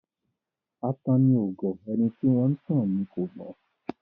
Atanni ò gọ̀; ẹni tí wọ́n ńtàn ni kò gbọ́n.